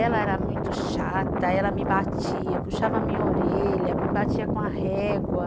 Ela era muito chata, ela me batia, puxava a minha orelha, me batia com a régua.